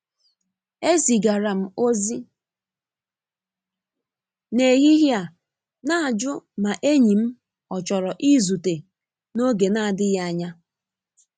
E zigara m ozi n'ehihie a n'ajụ ma enyi m ọ chọrọ i zute n’oge n'adịghị anya.